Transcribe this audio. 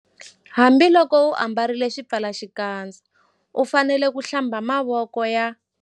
Hambiloko u ambarile xipfalaxikandza u fanele ku- Hlamba mavoko ya